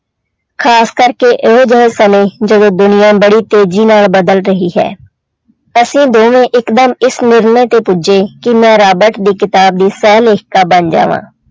ਖ਼ਾਸ ਕਰਕੇ ਇਹੋ ਜਿਹੇ ਸਮੇਂ ਜਦੋਂ ਦੁਨੀਆਂ ਬੜੀ ਤੇਜ਼ੀ ਨਾਲ ਬਦਲ ਰਹੀ ਹੈ, ਅਸੀਂ ਦੋਵੇਂ ਇੱਕਦਮ ਇਸ ਨਿਰਣੇ ਤੇ ਪੁੱਜੇ ਕਿ ਮੈਂ ਰਾਬਟ ਦੀ ਕਿਤਾਬ ਦੀ ਸਹਿ ਲਿਖਤਾ ਬਣ ਜਾਵਾਂ।